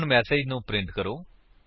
ਹੁਣ ਮੇਸੇਜ ਨੂੰ ਪ੍ਰਿੰਟ ਕਰੋ